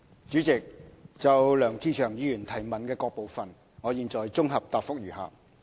主席，就梁志祥議員質詢的各部分，現綜合答覆如下。